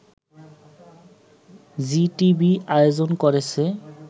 Zee TV আয়োজন করেছে